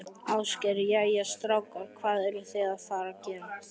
Ásgeir: Jæja, strákar, hvað eruð þið að fara að gera?